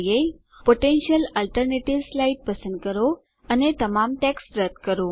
potential alternatives slide પસંદ કરો અને તમામ ટેક્સ્ટ રદ્દ કરો